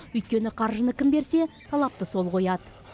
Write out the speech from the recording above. өйткені қаржыны кім берсе талапты сол қояды